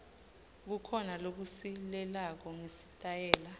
kukhona lokusilelako ngesitayela